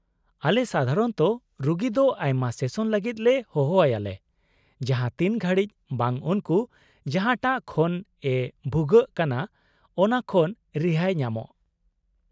-ᱟᱞᱮ ᱥᱟᱫᱷᱟᱨᱚᱱᱛᱚ ᱨᱩᱜᱤ ᱫᱚ ᱟᱭᱢᱟ ᱥᱮᱥᱚᱱ ᱞᱟᱹᱜᱤᱫ ᱞᱮ ᱦᱚᱦᱚ ᱟᱭᱟ ᱞᱮ ᱡᱟᱦᱟᱸ ᱛᱤᱱ ᱜᱷᱟᱹᱲᱤᱡ ᱵᱟᱝ ᱩᱱᱠᱩ ᱡᱟᱦᱟᱴᱟᱜ ᱠᱷᱚᱱ ᱮ ᱵᱷᱩᱜᱟᱹᱜ ᱠᱟᱱᱟ ᱚᱱᱟ ᱠᱷᱚᱱ ᱨᱤᱦᱟᱹᱭ ᱧᱟᱢᱚᱜ ᱾